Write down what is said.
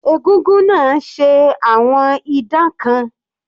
Egúngún náà ṣe àwọn idán kan.